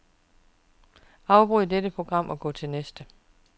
Afbryd dette program og gå til næste.